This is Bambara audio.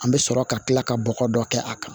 An bɛ sɔrɔ ka kila ka bɔgɔ dɔ kɛ a kan